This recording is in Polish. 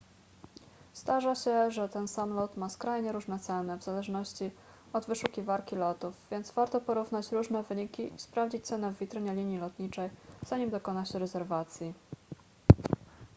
zdarza się że ten sam lot ma skrajnie różne ceny w zależności od wyszukiwarki lotów więc warto porównać różne wyniki i sprawdzić cenę w witrynie linii lotniczej zanim dokona się rezerwacji